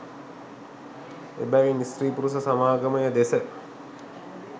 එබැවින් ස්ත්‍රී පුරුෂ සමාගමය දෙස